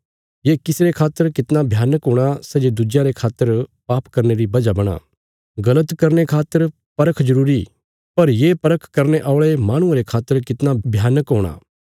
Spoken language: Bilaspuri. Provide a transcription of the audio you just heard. ये किसी रे खातर कितना भयानक हूणा सै जे दुज्यां रे खातर पाप करने री वजह बणां गल़त करने खातर परख जरूरी पर ये परख करने औल़े माहणुये रे खातर कितना भयानक हूणा